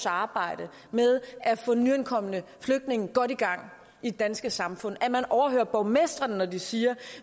arbejde med at få nyankomne flygtninge godt i gang i det danske samfund at man overhører borgmestrene når de siger